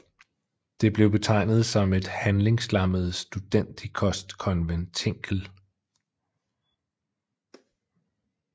Det blev betegnet som et handlingslammet studentikost konventikel